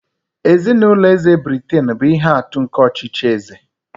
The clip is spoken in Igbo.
Ezinụlọ eze Britain bụ ihe atụ nke ọchịchị eze.